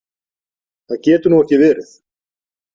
Það getur nú ekki verið!